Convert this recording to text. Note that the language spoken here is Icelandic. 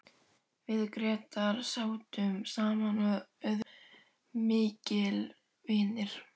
Við Grétar sátum saman og urðum miklir vinir.